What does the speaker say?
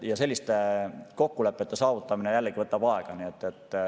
Selliste kokkulepete saavutamine jällegi võtab aega.